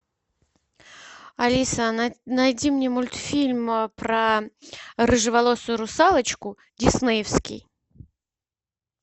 алиса найди мне мультфильм про рыжеволосую русалочку диснеевский